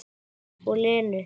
Og Lenu.